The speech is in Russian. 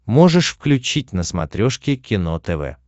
можешь включить на смотрешке кино тв